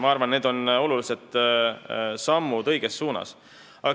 Ma arvan, et need on olulised sammud õiges suunas.